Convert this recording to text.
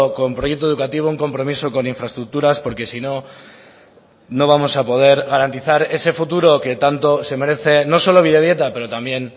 con proyecto educativo un compromiso con infraestructuras porque sino no vamos a poder garantizar ese futuro que tanto se merece no solo bidebieta pero también